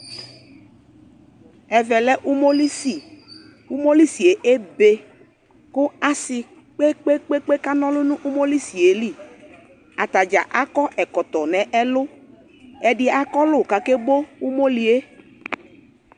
Ɛvɛ lɛ umolisi Umolisie ebe ko ase kpekpe kana ɔlu no umolisie liAta dza akɔ ɛkɔtɔ nɛlu Ɛde akɔlu kake bo umolie